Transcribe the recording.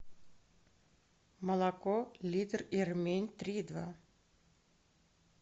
молоко литр ирмень три и два